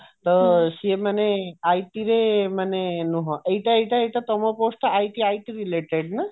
ତ ସିଏ ମାନେ IT ରେ ମାନେ ନୁହଁ ଏଇଟା ତମ post IT IT related ନା